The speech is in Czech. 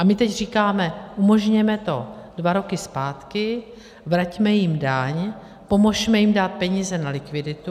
A my teď říkáme, umožněme to dva roky zpátky, vraťme jim daň, pomozme jim dát peníze na likviditu.